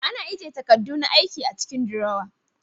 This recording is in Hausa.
Ana ajiye takadu na aiki a cikin durowa